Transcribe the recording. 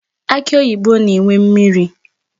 Akị oyibo na-enwe mmiri.